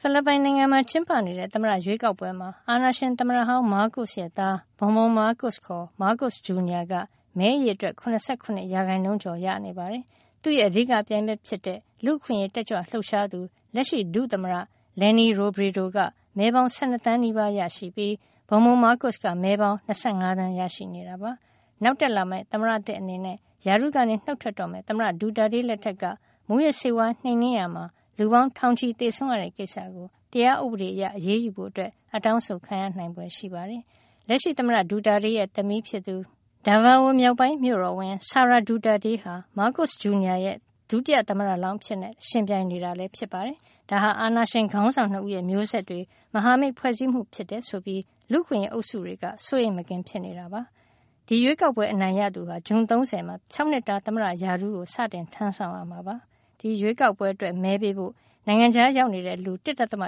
ဖိလစ်ပိုင်နိုင်ငံမှာ ကျင်းပနေတဲ့ သမ္မတရွေးကောက်ပွဲမှာ အာဏာရှင်သမ္မတဟောင်း မားကို့စ်ရဲ့ သား Bong Bong မားကို့စ် ခေါ် မားကို့စ် ဂျူနီယာ က မဲအရေအတွက် ၇၇ ရာခိုင်နှုန်းကျော်ရရှိနေပါတယ်။ သူ့ရဲ့ အဓိကပြိုင်ဘက် ဖြစ်တဲ့ လူ့အခွင့်ရေး တက်ကြွလှုပ်ရှားသူ လက်ရှိ ဒုသမ္မတ Leni Robredo က မဲပေါင်း ၁၂ သန်းနီးပါးရရှိပြီး Bong Bong မားကို့စ်က မဲပေါင်း ၂၅ သန်း ရရှိနေတာပါ။ နောက်တက်လာမယ့် သမ္မတသစ် အနေနဲ့ ရာထူးကနေ နှုတ်ထွက်တော့မယ့် သမ္မတ Duterte လက်ထက်က မူးယစ်ဆေးဝါး နှိမ်နင်းရာမှာ လူပေါင်း ထောင်ချီ သေဆုံးရတဲ့ ကိစ္စကို တရားဥပဒေအရ အရေးယူဖို့ အတောင်းဆိုခံရနိုင်ဖွယ် ရှိနေပါတယ်။ လက်ရှိသမ္မတ Duterte ရဲ့ သမီး Daveo မြောက်ပိုင်းမြို့တော်ဝန် Sara Duterte ဟာ မားကို့စ် ဂျူနီယာ ရဲ့ ဒုတိယသမ္မတလောင်း အဖြစ် ယှဉ်ပြိုင်နေတာဖြစ်ပါတယ်။ ဒါဟာ အာဏာရှင်ခေါင်းဆောင် ၂ ဦးရဲ့ မျိုးဆက်တွေ မဟာမိတ် ဖွဲ့စည်းမှု ဖြစ်တယ်ဆိုပြီး လူ့အခွင့်ရေး အုပ်စုတွေက စိုးရိမ်မကင်း ဖြစ်နေကြပါတယ်။ ဒီရွေးကောက်ပွဲ အနိုင်ရရှိသူဟာ ဇွန်လ ၃၀ ရက်နေ့မှာ ၆နှစ်တာသမ္မတရာထူးကို စတင်ထမ်းဆောင်ရမှာ ဖြစ်ပါတယ်။ ဒီရွေးကောက်ပွဲမှာ မဲပေးဖို့အတွက် နိုင်ငံခြားရောက်နေတဲ့ လူ ၁.၆ သန်းအ